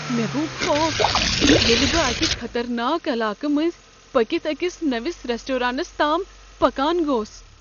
مےٚ گو خوف ییٚلہ بہٕ اکہ خطرناک علاقہٕ مٔنٛزۍ پٔکتھ أکس نوِس ریسٹورانس تام پکان گوس۔